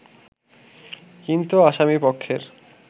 কিন্তু আসামী পক্ষের